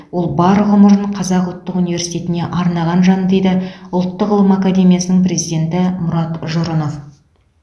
ол бар ғұмырын қазақ ұлттық университетіне арнаған жан дейді ұлттық ғылым академиясының президенті мұрат жұрынов